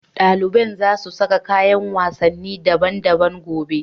Dalibai za su sa kayan wasanni daban-daban gobe.